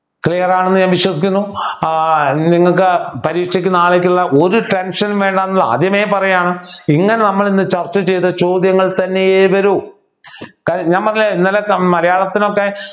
Clear ആണെന്ന് ഞാൻ വിശ്വസിക്കുന്നു ഏർ നിങ്ങൾക്ക് പരീക്ഷയ്ക്ക് നാളെ ഉള്ള ഒരു tension നും വേണ്ട എന്ന് ആദ്യമേ പറയാണ് ഇങ്ങനെ നമ്മൾ ഇന്ന് ചർച്ച ചെയ്ത ചോദ്യങ്ങൾ തന്നെയേ വരൂ നമ്മളെ ഇന്നലത്തെ മലയാളത്തിലൊക്കെ